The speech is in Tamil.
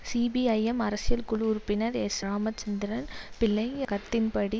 சிபிஐஎம் அரசியல் குழு உறுப்பினர் எஸ் ராமச்சந்திரன் பிள்ளை கருத்தின்படி